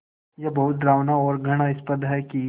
ये बहुत डरावना और घृणास्पद है कि